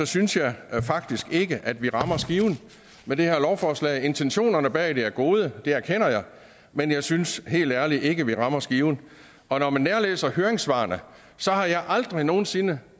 synes jeg faktisk ikke at vi rammer skiven med det her lovforslag intentionerne bag det er gode det erkender jeg men jeg synes helt ærligt ikke vi rammer skiven og når man nærlæser høringssvarene har jeg aldrig nogen sinde